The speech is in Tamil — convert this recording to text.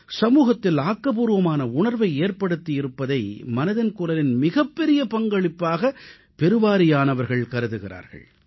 சமூகத்தில் ஆக்கப்பூர்வமான உணர்வை ஏற்படுத்தி இருப்பதை மனதின் குரலின் மிகப்பெரிய பங்களிப்பாக பெருவாரியானவர்கள் கருதுகிறார்கள்